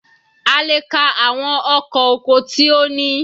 A lè ka àwọn ọkọ̀ oko tí ó ní.